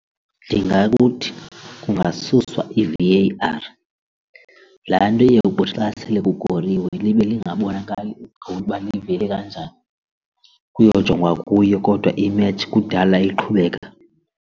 Ndingakuthi kuthi kungasuswa i-V_A_R, laa nto iye kuthi xa sele kukoriwe libe lingabonakali igowuli uba livele kanjani kuyojongwa kuyo kodwa imetshi kudala iqhubeka.